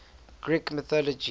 greek mythology